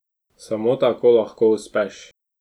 Samo tako lahko uspeš.